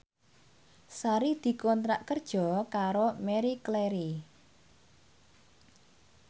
Sari dikontrak kerja karo Marie Claire